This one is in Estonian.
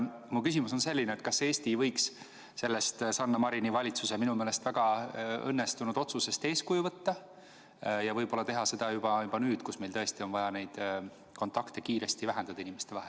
Mu küsimus on selline: kas Eesti ei võiks sellest Sanna Marini valitsuse minu meelest väga õnnestunud otsusest eeskuju võtta ja võib-olla teha seda juba nüüd, kui meil tõesti on vaja inimestevahelisi kontakte kiiresti vähendada?